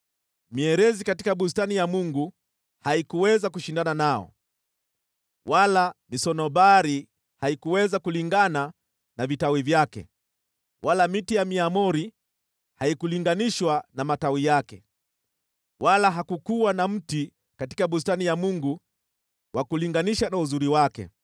Mierezi katika bustani ya Mungu haikuweza kushindana nao, wala misunobari haikuweza kulingana na vitawi vyake, wala miaramoni haikulinganishwa na matawi yake, wala hakukuwa na mti katika bustani ya Mungu wa kulinganisha na uzuri wake.